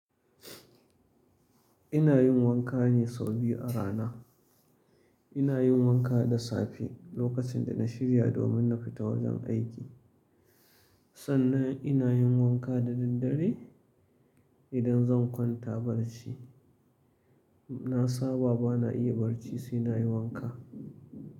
Ina yin wanka ne sau biyu a rana. Ina yin wanka da safe lokacin da na shirya domin na fita wajen aiki. Sannan ina yin wanka da daddare idan zan kwanta barci. Na saba bana iya barci sai na yi wanka.